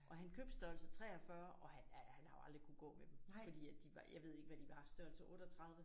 Og han købte størrelse 43 og han har jo aldrig kunnet gå med dem fordi at de var jeg ved ikke hvad de var størrelse 38